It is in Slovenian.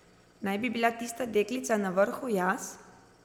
Naj bi bila tista deklica na vrhu jaz?